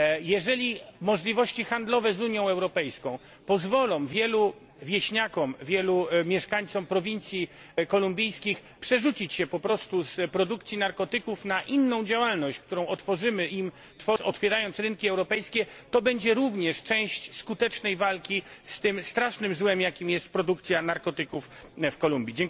Jeżeli możliwości handlowe z Unią Europejską pozwolą wielu wieśniakom, wielu mieszkańcom prowincji kolumbijskich przerzucić się z produkcji narkotyków na inną działalność, którą umożliwimy im otwierając rynki europejskie, to będzie również część skutecznej walki z tym strasznym złem, jakim jest produkcja narkotyków w Kolumbii.